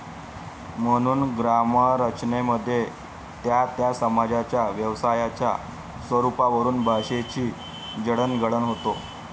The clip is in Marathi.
म्हणून ग्रामरचनेमध्ये त्या त्या समाजाच्या व्यवसायाच्या स्वरूपावरून भाषेची जडणघडण होते.